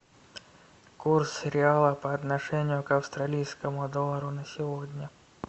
курс реала по отношению к австралийскому доллару на сегодня